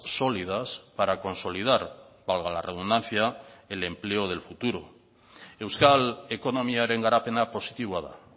sólidas para consolidar valga la redundancia el empleo del futuro euskal ekonomiaren garapena positiboa da